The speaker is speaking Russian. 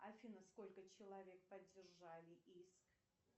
афина сколько человек поддержали иск